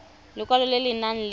lekwalo le le nang le